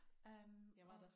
Øh og